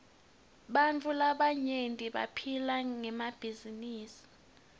bantfu labaryenti baphila ngemabhizinisi